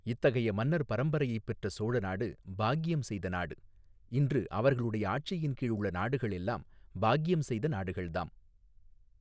இத்தகைய மன்னர் பரம்பரையைப் பெற்ற சோழ நாடு பாக்கியம் செய்த நாடு இன்று அவர்களுடைய ஆட்சியின் கீழ் உள்ள நாடுகள் எல்லாம் பாக்கியம் செய்த நாடுகள்தாம்.